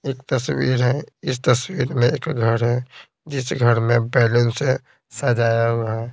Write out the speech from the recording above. एक तस्वीर है इस तस्वीर में एक घर है जिस घर में बैलून से सजाया हुआ है।